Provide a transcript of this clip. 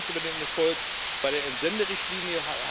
Wir freuen uns über den Erfolg bei der Entsenderichtlinie.